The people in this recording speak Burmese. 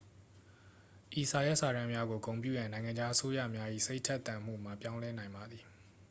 ဤစာရွက်စာတမ်းများကို ဂုဏ်ပြုရန် နိုင်ငံခြား အစိုးရများ၏ စိတ်ထက်သန်မှုမှာ ပြောင်းလဲနိုင်ပါသည်